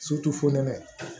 fonɛnɛ